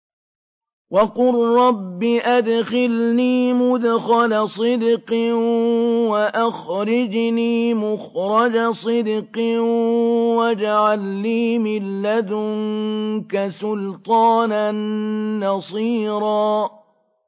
وَقُل رَّبِّ أَدْخِلْنِي مُدْخَلَ صِدْقٍ وَأَخْرِجْنِي مُخْرَجَ صِدْقٍ وَاجْعَل لِّي مِن لَّدُنكَ سُلْطَانًا نَّصِيرًا